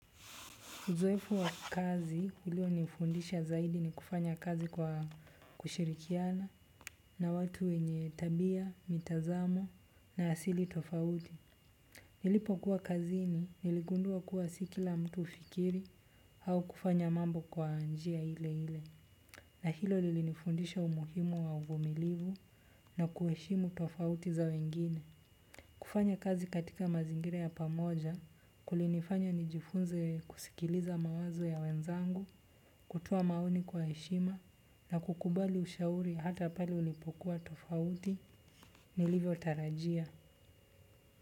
Uzoefu wa kazi ilio nifundisha zaidi ni kufanya kazi kwa kushirikiana na watu wenye tabia, mitazamo na asili tofauti. Nilipo kuwa kazi ni niligundua kuwa sikila mtu hufikiri au kufanya mambo kwa njia ile ile. Na hilo lilifundisha umuhimu wa uvumilivu na kueshimu tofauti za wengine. Kufanya kazi katika mazingire ya pamoja, kulinifanya nijifunze kusikiliza mawazo ya wenzangu, kutoa maoni kwa heshima na kukubali ushauri hata pali ulipokuwa tofauti, nilivyo tarajia.